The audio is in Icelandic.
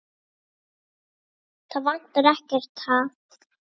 Það vantar ekkert, ha?